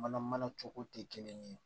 Mana mana cogo tɛ kelen ye